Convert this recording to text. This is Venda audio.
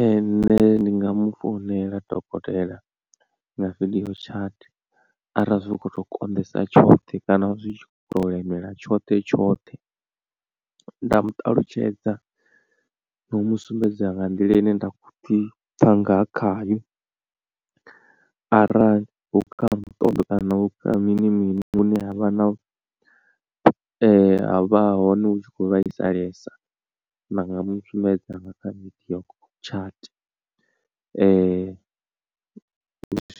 Ee nṋe ndi nga mufounela dokotela nga video chat arali zwi tshi kho to konḓesa tshothe kana zwi khoto lemela tshoṱhe tshoṱhe nda mu ṱalutshedza na u mu sumbedza nga nḓila ine nda khoḓi pfha nga khayo arali hu kha muṱoḓo kana hu kha mini mini hune ha vha na ha vha hone hu tshi khou vhaisalesa. Ndi nga mu sumbedza nga kha video chat